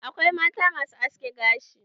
Akwai mata masu haski gashi.